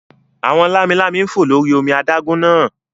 Àwọn lámi-lámi ń fò lórí omi adágún náà